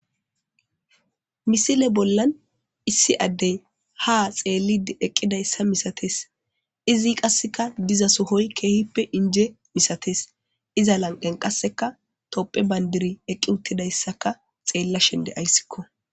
misile bollan issi addey ha xeellid eqqidayssa misates izi qasseka diza sohoy keehippe inje misates iza lanqen qasseka topphe bayndiri eqqi uttidayssaka xeella shende ayssikko